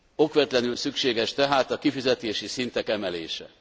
Okvetlenül szükséges tehát a kifizetési szintek emelése.